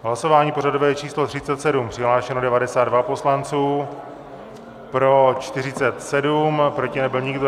Hlasování pořadové číslo 37, přihlášeno 92 poslanců, pro 47, proti nebyl nikdo.